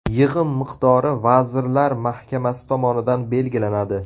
Yig‘im miqdori Vazirlar Mahkamasi tomonidan belgilanadi.